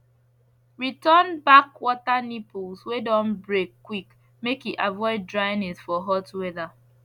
return back water nipples wey don break quick make e avoid dryness for hot weather